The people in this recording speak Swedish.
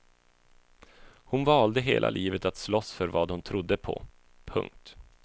Hon valde hela livet att slåss för vad hon trodde på. punkt